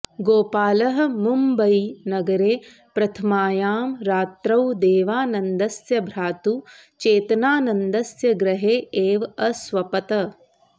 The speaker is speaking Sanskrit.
गोपालः मुम्बयीनगरे प्रथमायां रात्रौ देवानन्दस्य भ्रातुः चेतनानन्दस्य गृहे एव अस्वपत्